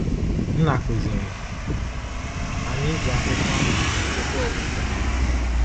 Nna kụziiri anyị iji akwụkwọ ahụ ahụ chekwaa okwukwe anyị.